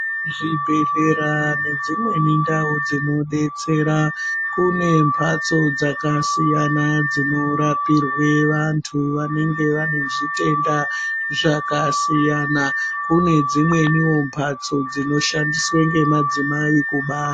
Zvibhedhlera nedzimwe ndau dzinobetsera kune mbatso dzakasiyana dzinorapirwa vantu vanenge vane zvitenda zvakasiyana kune dzimweni mbatso dzinoshandiswa nemadzimai kubara.